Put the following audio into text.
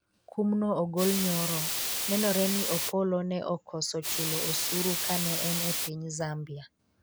kumno ogol nyoro, nenore ni Opollo ne okoso chulo osuru kane en e piny Zambia